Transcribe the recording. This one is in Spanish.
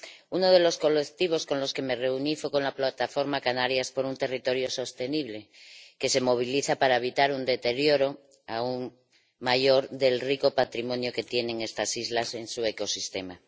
Uno de los colectivos con los que me reuní fue la plataforma Canarias por un territorio sostenible, que se moviliza para evitar un deterioro aún mayor del rico patrimonio que tienen estas islas en su ecosistema.